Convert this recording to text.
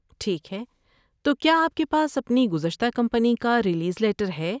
ٹھیک ہے، تو کیا آپ کے پاس اپنی گزشتہ کمپنی کا ریلیز لیٹر ہے؟